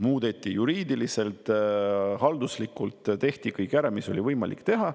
Muudeti, juriidiliselt ja halduslikult tehti kõik ära, mis oli võimalik teha.